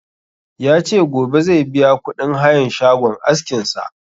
Ya ce gobe zai biya kuɗin hayan shagon askin sa